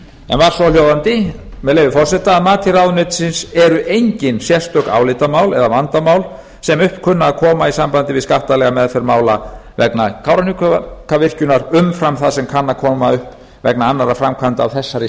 var svohljóðandi með leyfi forseta að mati ráðuneytisins eru engin sérstök álitamál eða vandamál sem upp kunna að koma í sambandi við skattalega meðferð mála vegna kárahnjúkavirkjunar umfram það sem upp kann að koma vegna annarra framkvæmda af þessari